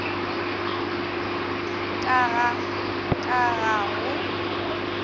ka ga ka ga go